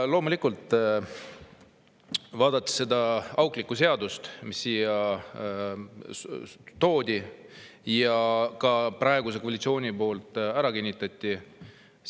Ja loomulikult, see auklik seadus, mis siia toodi, praeguse koalitsiooni poolt ka ära kinnitati.